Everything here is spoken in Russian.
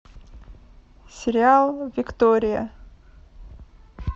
сериал виктория